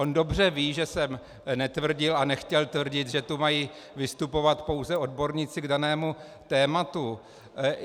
On dobře ví, že jsem netvrdil a nechtěl tvrdit, že tu mají vystupovat pouze odborníci k danému tématu.